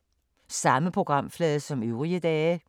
Samme programflade som øvrige dage